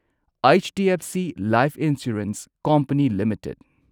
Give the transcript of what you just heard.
HDFC life insurance company limited